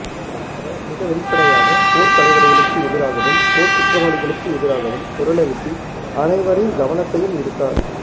அவர் மிக வெளிப்படையாக போர்த்தலைவர்களுக்கு எதிராகவும் போர்க் குற்றவாளிகளுக்கு எதிராகவும் குரலெழுப்பி அனைவரின் கவனத்தையும் ஈர்த்தார்